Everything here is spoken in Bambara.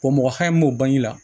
Ko mɔgɔ hakɛ min b'o bange la